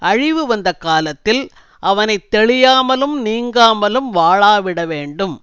அழிவு வந்த காலத்தில் அவனை தெளியாமலும் நீங்காமலும் வாளாவிட வேண்டும்